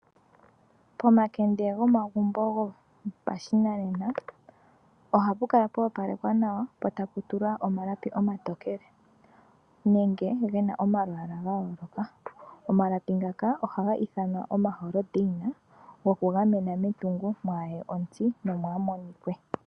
Pomakende gomagumbo gopashinanena ohapu kala pwa opalekwa nawa po tapu tulwa omalapi omatokele nenge gena omalwaaala ga yooloka. Omalapi ngaka ohaga ithanwa omaholdana goku gamena metungo mwaye ontsi nomwa monike.